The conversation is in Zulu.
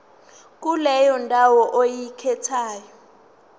kuleyo ndawo oyikhethayo